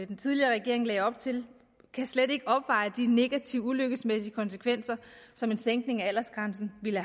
den tidligere regering lagde op til slet ikke kan opveje de negative ulykkesmæssige konsekvenser som en sænkning af aldersgrænsen ville